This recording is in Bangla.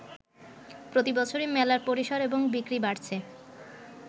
প্রতি বছরই মেলার পরিসর এবং বিক্রি বাড়ছে।